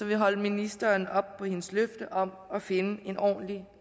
vi holde ministeren op på hendes løfte om at finde en ordentlig